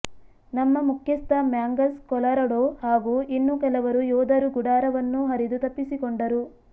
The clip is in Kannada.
ನಮ್ಮ ಮುಖ್ಯಸ್ಥ ಮ್ಯಾಂಗಸ್ ಕೊಲರಡೊ ಹಾಗೂ ಇನ್ನು ಕೆಲವರು ಯೋಧರು ಗುಡಾರವನ್ನು ಹರಿದು ತಪ್ಪಿಸಿಕೊಂಡರು